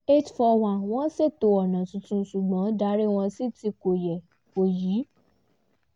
eight four one wọ́n ṣètò ọ̀nà tuntun ṣùgbọ́n darí wọ́n sí ti ko ye kò yí